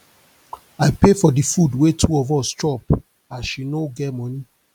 i pay for di food wey two of us chop as she no get moni